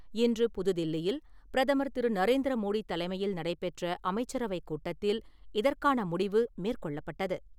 இன்று புது தில்லியில் பிரதமர் திரு. நரேந்திர மோடி தலைமையில் நடைபெற்ற அமைச்சரவைக் கூட்டத்தில் இதற்கான முடிவு மேற்கொள்ளப்பட்டது.